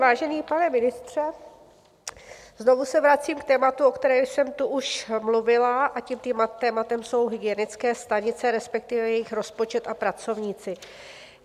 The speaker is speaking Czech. Vážený pane ministře, znovu se vracím k tématu, o kterém jsem tu už mluvila, a tím tématem jsou hygienické stanice, respektive jejich rozpočet a pracovníci.